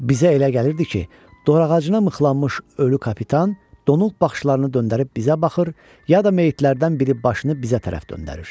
Bizə elə gəlirdi ki, dorağacına mıxlanmış ölü kapitan donub baxışlarını döndərib bizə baxır, ya da meyitlərdən biri başını bizə tərəf döndərir.